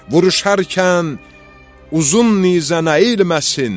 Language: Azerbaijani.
Vuruşarkən uzun nizən əyilməsin.